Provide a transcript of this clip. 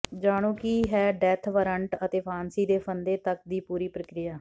ਜਾਣੋ ਕੀ ਹੈ ਡੈੱਥ ਵਾਰੰਟ ਅਤੇ ਫਾਂਸੀ ਦੇ ਫੰਦੇ ਤਕ ਦੀ ਪੂਰੀ ਪ੍ਰਕਿਰਿਆ